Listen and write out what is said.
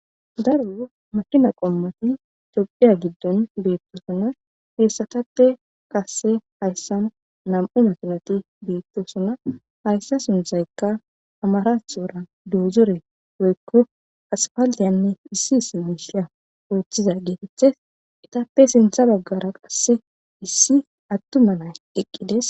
Daro makina qommati tophphiya giddon beettosona. Hessatappe qasse hayssan nami'u makinati beettosona. Hayssa sunthaykka amarathora doozore goykko asfaalliyanne issi issi miishiya ooththiza geetetes. Etappe sintha baggara qasse issi attuma nay eqqides.